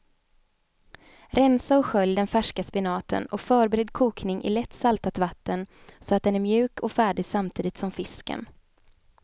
Rensa och skölj den färska spenaten och förbered kokning i lätt saltat vatten så att den är mjuk och färdig samtidigt som fisken.